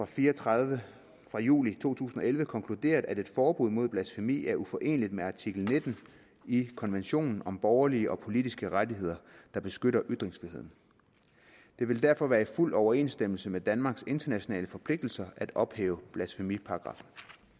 fire og tredive fra juli to tusind og elleve konkluderet at et forbud mod blasfemi er uforeneligt med artikel nitten i konventionen om borgerlige og politiske rettigheder der beskytter ytringsfriheden det vil derfor være i fuld overensstemmelse med danmarks internationale forpligtelser at ophæve blasfemiparagraffen